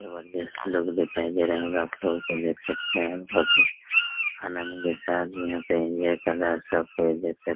जबरदस्त से लोग दिखाई दे रहा होगा आप सब को देख सकते है और बहुत ही आनंद के साथ यहाँ पे एन्जॉय कर रहा सब कोई देख सक --